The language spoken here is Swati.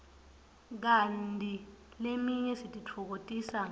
kanti leminye sititfokotisa ngayo